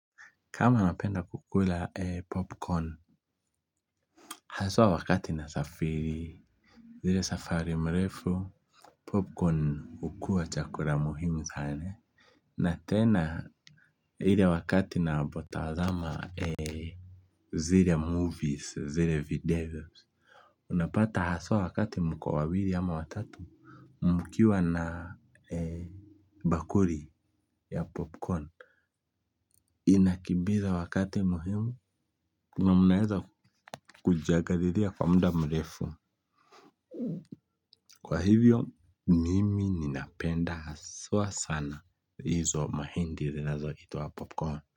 Kama napenda kukula popcorn hasa wakati nasafiri ile safari mrefu popcorn hukua chakula muhimu sana na tena ile wakati na ninapotazama zile movies zile videos unapata haswa wakati mko wawili ama watatu mkiwa na bakuli ya popcorn. Inakimbiza wakati muhimu na mnaeza kujiangalilia kwa mda mrefu. Kwa hivyo, mimi ninapenda haswa sana izo mahindi zinazo itwa popcorn.